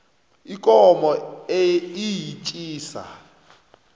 ikomo iyetjisa